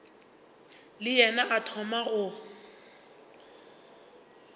le yena a thoma go